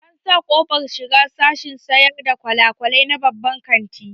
An sa ƙofar shiga sashen sayar da gwalagwalai na babban kantin